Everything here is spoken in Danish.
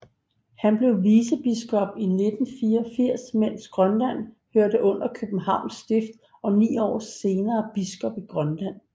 Han blev vicebiskop i 1984 mens Grønland hørte under Københavns Stift og ni år senere biskop i Grønland